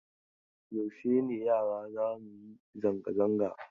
Yaushe ne yara za mu yi zanga-zanga?